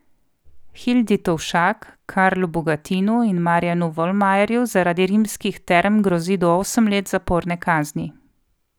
Hildi Tovšak, Karlu Bogatinu in Marjanu Volmajerju zaradi Rimskih term grozi do osem let zaporne kazni.